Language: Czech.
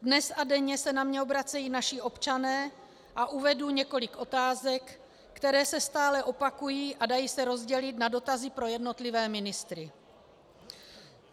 Dnes a denně se na mě obracejí naši občané a uvedu několik otázek, které se stále opakují a dají se rozdělit na dotazy pro jednotlivé ministry.